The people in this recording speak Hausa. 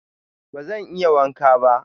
Bazan iya wanka ba.